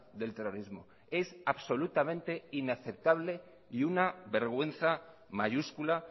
del terrorismo es absolutamente inaceptable y una vergüenza mayúscula